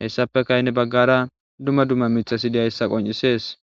hesapeka heni baggara dumma dumma mithati de'izayssa qonccises.